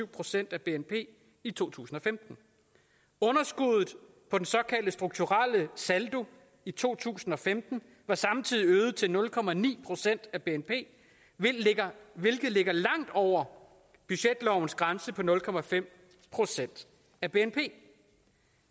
procent af bnp i to tusind og femten underskuddet på den såkaldte strukturelle saldo i to tusind og femten var samtidig øget til nul procent af bnp hvilket ligger hvilket ligger langt over budgetlovens grænse på nul procent af bnp